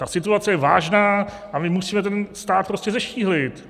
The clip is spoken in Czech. Ta situace je vážná a my musíme ten stát prostě zeštíhlit.